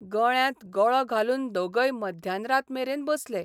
गळ्यांत गळो घालून दोगय मध्यान रात मेरेन बसले.